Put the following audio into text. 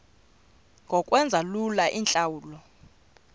ngokwenza lula iintlawulo